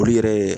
Olu yɛrɛ